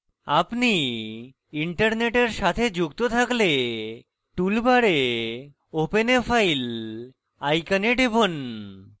আপনি internet সাথে যুক্ত থাকলে tool bar open a file icon টিপুন